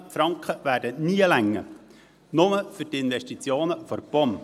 1000 Mio. Franken werden nie ausreichen, nicht einmal für die Investitionen für die POM.